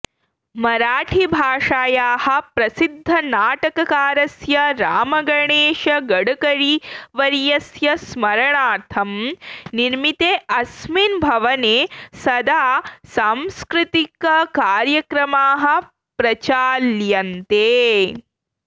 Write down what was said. मराठीभाषायाः प्रसिद्धनाटककारस्य रामगणेशगडकरीवर्यस्य स्मरणार्थं निर्मिते अस्मिन् भवने सदा सांस्कृतिककार्यक्रमाः प्रचाल्यन्ते